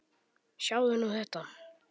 Sjáðu nú þetta!